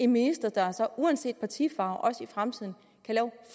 minister der så uanset partifarve også i fremtiden